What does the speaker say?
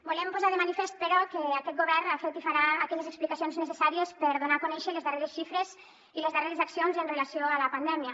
volem posar de manifest però que aquest govern ha fet i farà aquelles explicacions necessàries per donar a conèixer les darreres xifres i les darreres accions amb relació a la pandèmia